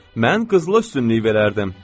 Mən qızıla üstünlük verərdim.